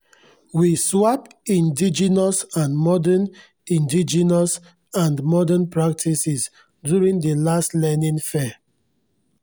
we swap indigenous and modern indigenous and modern practices during di last learning fair